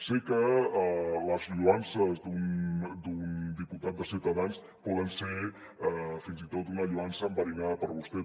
sé que les lloances d’un diputat de ciutadans poden ser fins i tot una lloança enverinada per a vostè